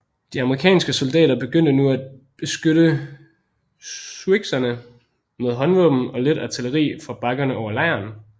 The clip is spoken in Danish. De amerikanske soldater begyndte nu at beskyde siouxerne med håndvåben og let artilleri fra bakkerne over lejren